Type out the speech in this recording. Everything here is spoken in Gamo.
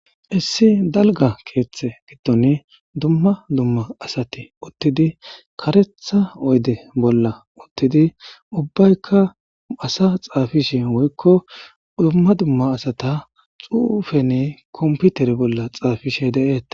Issi daliga ketha giddoni darro asati utidesi karetha oyide bolla utidi ubayikka assa xafishe woyiko duma duma assata xufeni kompiter bolla xafishe detesi